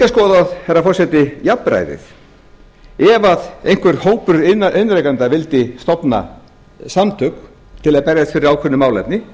skoðað herra forseti jafnræðið ef einhver hópur iðnrekenda vildi stofna samtök til að berjast fyrir ákveðnu málefni